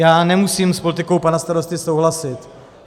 Já nemusím s politikou pana starosty souhlasit.